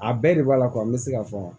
A bɛɛ de b'a la n bɛ se ka fɔ